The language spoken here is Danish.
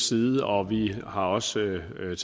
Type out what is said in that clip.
side og vi har også taget